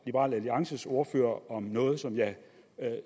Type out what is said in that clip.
liberal alliances ordfører om noget som jeg